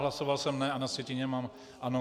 Hlasoval jsem "ne" a na sjetině mám "ano".